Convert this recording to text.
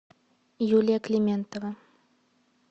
юлия климентова